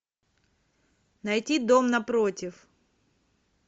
найти дом напротив